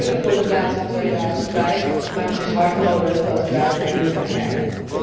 Dat gebeurde voor het laatst in 2005, maar het is hard nodig dat wij daar opnieuw naar kijken.